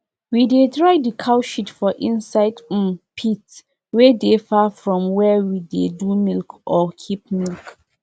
all the farmer drop money wey dem go use do fence for the land wey animal dey chop for that old stream side.